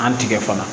An tigɛ fana